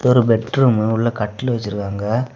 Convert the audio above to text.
இது ஒரு bedroom உள்ள கட்டில் வச்சிருக்காங்க.